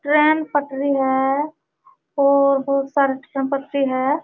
Train पटरी है और बोहोत सारी ट्रेन पटरी है।